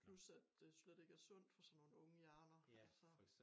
Plus at det slet ikke er sundt for sådan nogen unge hjerner altså